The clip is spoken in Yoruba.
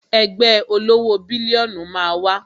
Ẹgbẹ́ olówó bílíónù máa wá